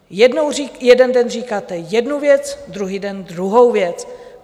Jeden den říkáte jednu věc, druhý den druhou věc.